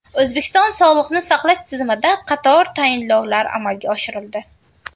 O‘zbekiston sog‘liqni saqlash tizimida qator tayinlovlar amalga oshirildi.